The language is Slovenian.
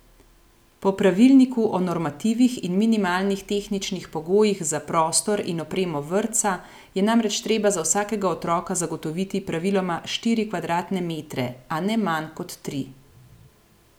Po pravilniku o normativih in minimalnih tehničnih pogojih za prostor in opremo vrtca je namreč treba za vsakega otroka zagotoviti praviloma štiri kvadratne metre, a ne manj kot tri.